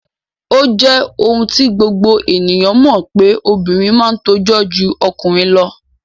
O je oun ti gbogbo ènìyàn mo pe obìnrin ma n tojó ju okùnrin lo